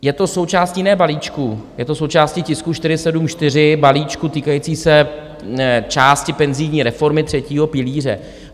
Je to součástí ne balíčku, je to součástí tisku 474, balíčku týkajícího se části penzijní reformy třetího pilíře.